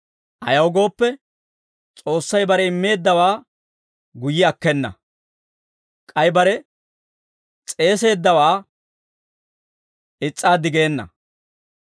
Ayaw gooppe, S'oossay bare immeeddawaa guyye akkena; k'ay bare s'eeseeddawaa is's'aaddi geena.